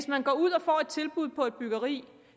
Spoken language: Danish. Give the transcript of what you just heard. man ud og får et tilbud på et byggeri